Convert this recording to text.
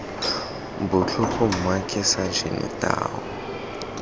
botlhoko mma ke sajene tau